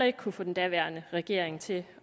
ikke kunne få den daværende regering til